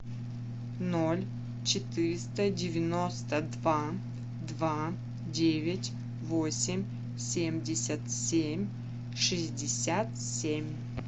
ноль четыреста девяносто два два девять восемь семьдесят семь шестьдесят семь